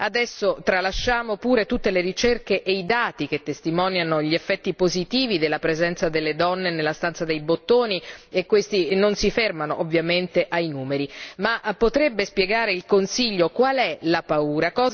Adesso, tralasciamo pure tutte le ricerche e i dati che testimoniano gli effetti positivi della presenza delle donne nella stanza dei bottoni e questi non si fermano ovviamente ai numeri ma potrebbe spiegare il Consiglio qual è la paura?